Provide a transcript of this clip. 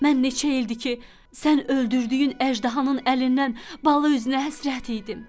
Mən neçə ildir ki, sən öldürdüyün əjdahanın əlindən bala üzünə həsrət idim.